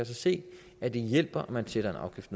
se at det hjælper at man sætter en afgift